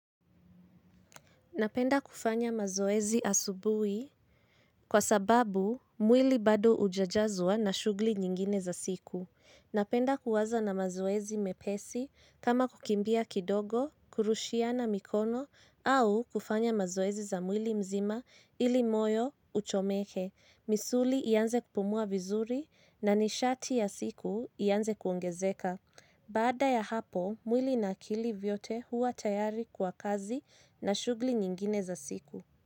Napenda kufanya mazoezi asubuhi kwa sababu mwili bado hujajazwa na shughuli nyingine za siku. Napenda kuanza na mazoezi mepesi kama kukimbia kidogo, kurushiana mikono au kufanya mazoezi za mwili mzima ili moyo uchomeke. Misuli ianze kupumua vizuri na nishati ya siku ianze kuongezeka. Baada ya hapo, mwili na akili vyote huwa tayari kwa kazi na shughuli nyingine za siku.